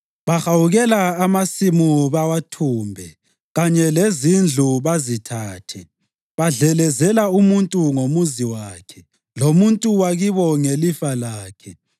Bahawukela amasimu bawathumbe, kanye lezindlu, bazithathe. Badlelezela umuntu ngomuzi wakhe, lomuntu wakibo ngelifa lakhe.